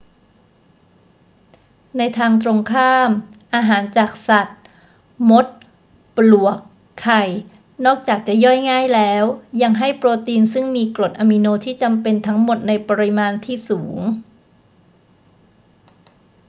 ในทางตรงข้าม อาหารจากสัตว์ มด ปลวก ไข่ นอกจากจะย่อยง่ายแล้ว ยังให้โปรตีนซึ่งมีกรดอะมิโนที่จำเป็นทั้งหมดในปริมาณที่สูง